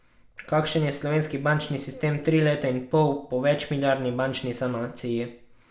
Kakšen je slovenski bančni sistem tri leta in pol po večmilijardni bančni sanaciji?